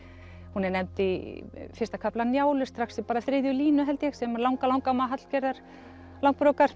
hún er nefnd í fyrsta kafla Njálu strax í þriðju línu held ég sem langalangamma Hallgerðar